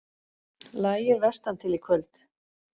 Lægir vestantil Í kvöld